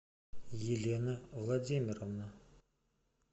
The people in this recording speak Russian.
елена владимировна